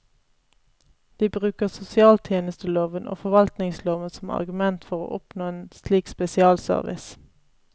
De bruker sosialtjenesteloven og forvaltningsloven som argument for å oppnå en slik spesialservice.